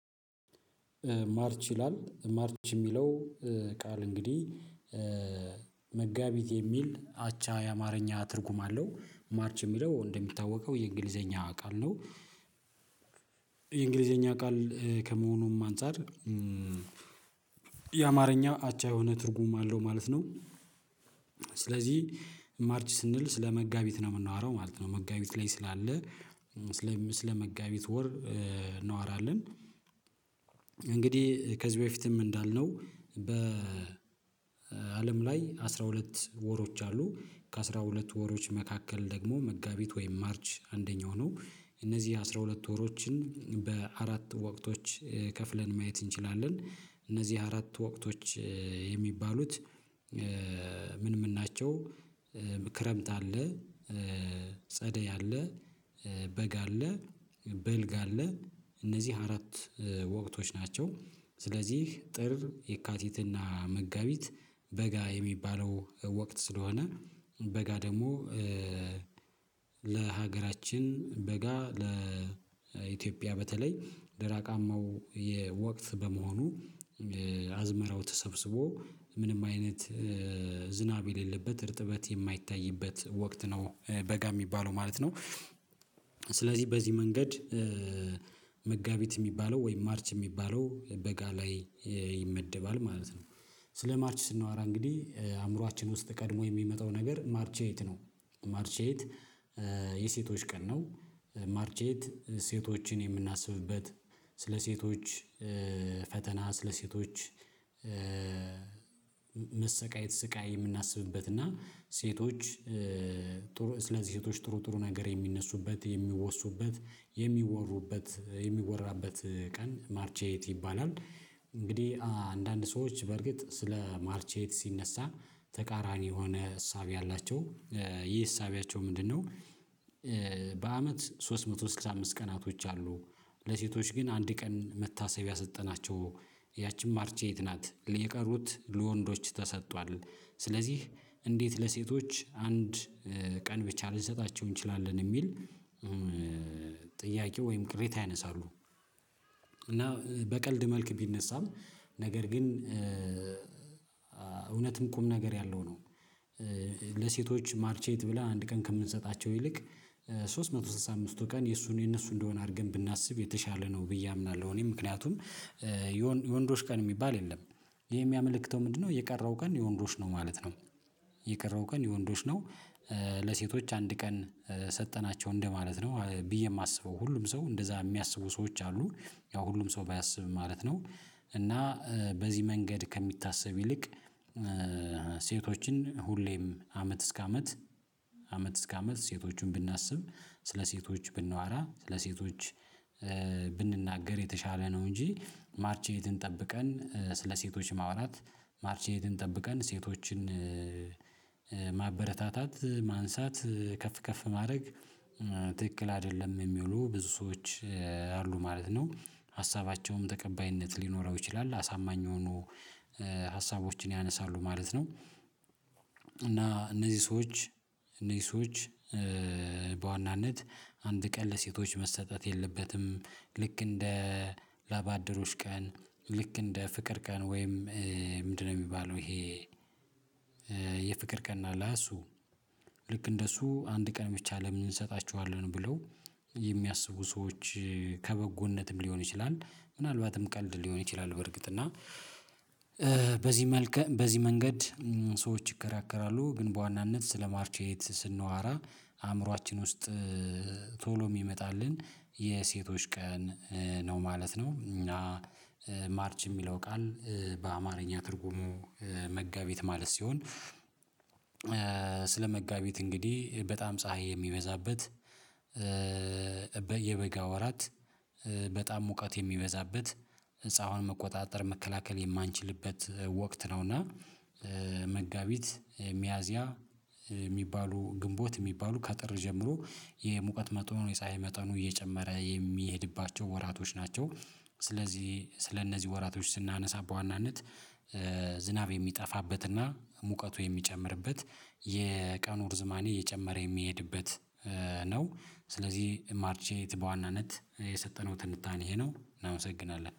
ማርች ይላል ማርች የሚለው ቃል እንግዲህ መጋቢት የሚል አቻ የአማርኛ ትርጉም አለው ማርች የሚለው እንደሚታወቀው የእንግሊዘኛ ቃል ነው። የእንግሊዘኛ ቃል ከመሆኑም አንፃር የአማርኛ አቻ የሆነ ትርጉም አለው ማለት ነው። ስለዚህ ማርች ስንል ስለመጋቢት ነው የምናወራው ማለት ነው መጋቢት ላይ ስላለ ስለ መጋቢት ወር እናዋራለን። እንግዲህ ከዚህ በፊትም እንዳልነው በአለም ላይ አስራ ሁለት ወሮች አሉ ከአስራ ሁለት ወሮች መካከል ደግሞ መጋቢት ወይም ማርች አንደኛው ነው። እነዚህ አስራ ሁለት ወሮችን በአራት ወቅቶች ከፍለን ማየት እንችላለን እነዚህ አራት ወቅቶች የሚባሉት ምን ምን ናቸው? ክረምት አለ ጸደይ አለ በጋ በልግ አለ እነዚህ አራት ወቅቶች ናቸው። ስለዚህ ጥር የካቲትና መጋቢት በጋ የሚባለው ወቅት ስለሆነ በጋ ደግሞ ለሀገራችን በጋ ለኢትዮጵያ በተለይ ደራቃማው የ ወቅት በመሆኑ አዝመራው ተሰብስቦ ምንም አይነት ዝናብ የሌለበት እርጥበት የማይታይበት ወቅት ነው በጋ የሚባለው ማለት ነው። ስለዚህ በዚህ መንገድ መጋቢት የሚባለው ወይም ማርች የሚባለው በጋ ላይ ይመደባል ማለት ነው። ስለ ማርች ስንወራ እንግዲህ አእምሮአችን ውስጥ ቀድሞ የሚመጣው ነገር ማርቼ ኤይት ነው ማርቼት ኤይት የሴቶች ቀን ነው ማርች ኤይት ሴቶችን የምናስብበት ስለ ሴቶች ፈተና ስለ ሴቶች መሰቃየት ስቃይ የምናስብበት እና ሴቶች ጥሩ ስለ ሴቶች ጥሩ ጥሩ ነገር የሚነሱበት የሚወሱበት የሚወሩበት የሚወራበት ቀን ማርች ኤይት ይባላል። እንግዲህ አንዳንድ ሰዎች በርግጥ ስለ ማርች ኤይት ሲነሳ ተቃራኒ የሆነ እሳቤ አላቸው ይሄ እሳቤያቸው ምንድነው? በአመት ሶስት መቶ ስልሳ አምስት ቀናቶች አሉ ለሴቶች ግን አንድ ቀን መታሰቢያ ሰጠናቸው ያቺም ማርች ኤይት ናት የቀሩት ለወንዶች ተሰጥቷል። ስለዚህ እንዴት ለሴቶች አንድ ቀን ብቻ ልንሰጣቸው እንችላለን የሚል ጥያቄው ወይም ቅሬታ ያነሳሉ እና በቀልድ መልክ ቢነሳም ነገር ግን እውነትም ቁም ነገር ያለው ነው። ለሴቶች ማርች ኤይት ብላን አንድ ቀን ከምንሰጣቸው ይልቅ ሶስት መቶ ሰላሳ አምስቱ ቀን የእሱን የእነሱ እንደሆነ አድርገን ብናስብ የተሻለ ነው ብዬ አምናለሁ እኔ ምክንያቱም የወንዶች ቀን የሚባል የለም። ይሄም ያመለክተው ምንድነው የቀረው ቀን የወንዶች ነው ማለት ነው። የቀረው ቀን የወንዶች ነው ለሴቶች አንድ ቀን ሰጠናቸው እንደማለት ነው ብዬ የማስበው ሁሉም ሰው እንደዛ የሚያስቡ ሰዎች አሉ ያው ሁሉም ሰው ባያስብም ማለት ነው። እና በዚህ መንገድ ከሚታሰብ ይልቅ ሴቶችን ሁሌም አመት እስከ አመት አመት እስከ አመት ሴቶቹን ብናስብ ስለ ሴቶች ብናዋራ ስለ ሴቶች ብንናገር የተሻለ ነው እንጂ ማርች ኤይትን ጠብቀን ስለ ሴቶች ማውራት ማርች ኤይትን ጠብቀን ሴቶችን ማበረታታት ማንሳት ከፍ ከፍ ማድረግ ትክክል አይደለም የሚውሉ ብዙ ሰዎች አሉ ማለት ነው። ሀሳባቸውም ተቀባይነት ሊኖረው ይችላል አሳማኝ የሆኑ ሀሳቦችን ያነሳሉ ማለት ነው። እና እነዚህ ሰዎች እነዚህ ሰዎች በዋናነት አንድ ቀን ለሴቶች መሰጠት የለበትም ልክ እንደ ላባደሮች ቀን ልክ እንደ ፍቅር ቀን ወይም ምንድነው የሚባለው ይሄ? የፍቅር ቀን አለ እሱ ልክ እንደሱ አንድ ቀን ብቻ ለምን እንሰጣቸዋለን ብለው የሚያስቡ ሰዎች ከበጎነትም ሊሆን ይችላል። ምናልባትም ቀልድ ሊሆን ይችላል በርግጥ እና በዚህ መልኩ በዚህ መንገድ ሰዎች ይከራከራሉ ግን በዋናነት ስለ ማርች ኤይት ስንዋራ አእምሮአችን ውስጥ ቶሎ የሚመጣልን የሴቶች ቀን ነው ማለት ነው። እና ማርች የሚለው ቃል በአማርኛ ትርጉሙ መጋቢት ማለት ሲሆን ስለመጋቢት እንግዲህ በጣም ፀሀይ የሚበዛበት የበጋ ወራት በጣም ሙቀት የሚበዛበት ፀሀይዋን መቆጣጠር መከላከል የማንችልበት ወቅት ነው። እና መጋቢት ሚያዚያ የሚባሉ ግንቦት የሚባሉ ከጥር ጀምሮ የሙቀት መጠኑ የፀሀይ መጠኑ እየጨመረ የሚሄድባቸው ወራቶች ናቸው። ስለዚህ ስለነዚህ ወራቶች ስናነሳ ዋናነት ዝናብ የሚጠፋበትና ሙቀቱ የሚጨምርበት የቀኑ ርዝማኔ እየጨመረ የሚሄድበት ነው። ስለዚህ ማርች ኤይት በዋናነት የሰጠነው ትንታኔ ይሄ ነው እናመሰግናለን